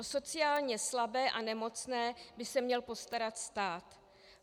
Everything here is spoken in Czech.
O sociálně slabé a nemocné by se měl postarat stát.